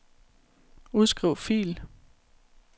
Udskriv fil.